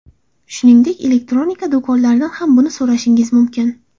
Shuningdek, elektronika do‘konlaridan ham buni so‘rashingiz mumkin.